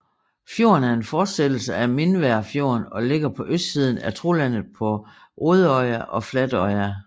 Fjorden er en fortsættelse af Mindværfjorden og ligger på østsiden af Trolandet på Rødøya og Flatøya